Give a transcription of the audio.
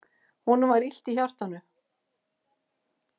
Honum var illt í hjartanu.